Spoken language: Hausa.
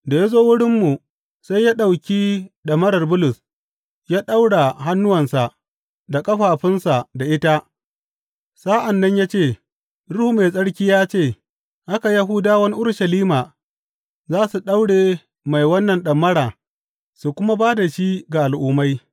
Da ya zo wurinmu, sai ya ɗauki ɗamarar Bulus, ya ɗaura hannuwansa da ƙafafunsa da ita sa’an nan ya ce, Ruhu Mai Tsarki ya ce, Haka Yahudawan Urushalima za su daure mai wannan ɗamara su kuma ba da shi ga Al’ummai.’